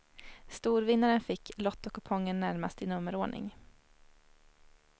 Storvinnaren fick lottokupongen närmast i nummerordning.